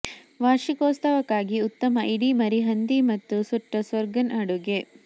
ವಾರ್ಷಿಕೋತ್ಸವಕ್ಕಾಗಿ ಉತ್ತಮ ಇಡೀ ಮರಿ ಹಂದಿ ಮತ್ತು ಸುಟ್ಟ ಸ್ಟರ್ಗನ್ ಅಡುಗೆ